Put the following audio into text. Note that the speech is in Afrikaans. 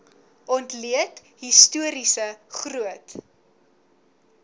ontleed historiese groot